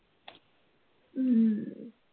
हम्म हम्म